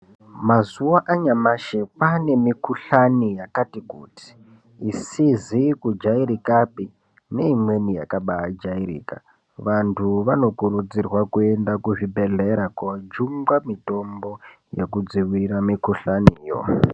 Mazuva anyamashi kwaane mikuhlani yakati kuti isizi kujairikapi neimweni yakabaajairika. Vanthu vanokurudzirwa kuenda kuzvibhedhera koojungwa mitombo yekudzivirira mikuhlani yo.